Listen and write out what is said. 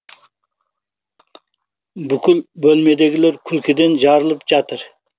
бүкіл бөлмедегілер күлкіден жарылып жатыр